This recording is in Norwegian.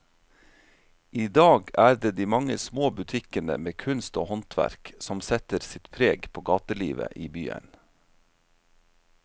I dag er det de mange små butikkene med kunst og håndverk som setter sitt preg på gatelivet i byen.